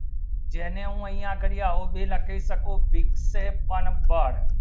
જેને હો અહીંયા ગલિયા ઉભી નાકે શકો વિકસિત પણ બળ